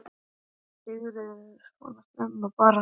Sigríður: Svona snemma bara?